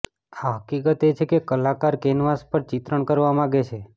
આ હકીકત એ છે કે કલાકાર કેનવાસ પર ચિત્રણ કરવા માગે છે કારણે છે